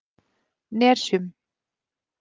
Nesjum